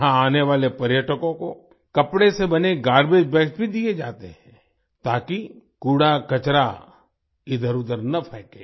यहां आने वाले पर्यटकों को कपड़े से बने गार्बेज बैग्स भी दिए जाते हैं ताकि कूड़ाकचरा इधरउधर न फैंके